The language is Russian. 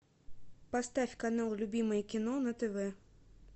поставь канал любимое кино на тв